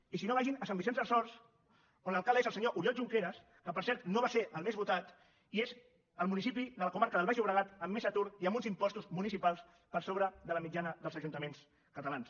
i si no vagin a sant vicenç dels horts on l’alcalde és el senyor oriol junqueras que per cert no va ser el més votat i que és el municipi de la comarca del baix llobregat amb més atur i amb uns impostos municipals per sobre de la mitjana dels ajuntaments catalans